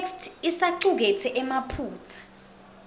itheksthi isacuketse emaphutsa